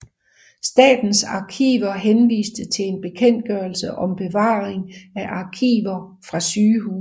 Statens Arkiver henviste til en bekendtgørelse om bevaring af arkiver fra sygehuse